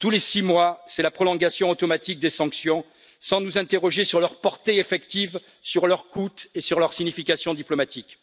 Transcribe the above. Tous les six mois, c'est la prolongation automatique des sanctions sans nous interroger sur leur portée effective, sur leur coût et sur leur signification diplomatique.